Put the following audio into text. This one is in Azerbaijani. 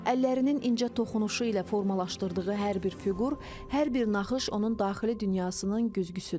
Əllərinin incə toxunuşu ilə formalaşdırdığı hər bir fiqur, hər bir naxış onun daxili dünyasının güzgüsüdür.